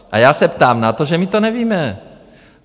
A já se ptám na to, že my to nevíme.